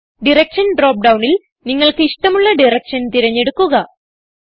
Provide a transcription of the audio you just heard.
direction drop ഡൌണിൽ നിങ്ങൾക്ക് ഇഷ്ടമുള്ള ഡയറക്ഷൻ തിരഞ്ഞെടുക്കുക